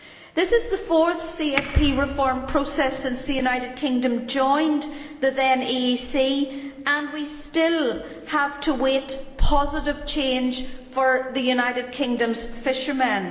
This is the fourth CFP reform process since the United Kingdom joined the then EEC, and we still have to wait for positive change for the United Kingdom's fishermen.